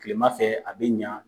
Kilema fɛ , a be ɲa.